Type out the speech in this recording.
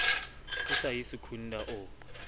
o sa ye secunda o